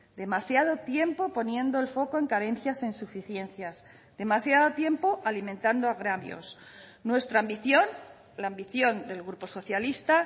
demasiado tiempo poniendo el foco en carencias e insuficiencias demasiado tiempo alimentando agravios nuestra ambición la ambición del grupo socialista